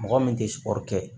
Mɔgɔ min tɛ siran kɛ